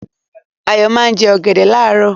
Ayọ̀ máa ń jẹ ọ̀gẹ̀dẹ̀ láàárọ̀.